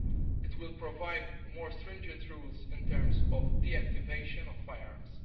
It will provide more stringent rules in terms of deactivation of firearms.